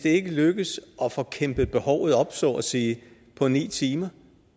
ikke lykkes at få kæmpet behovet op så at sige på ni timer